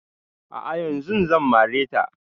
A'a yanzun zan mare ta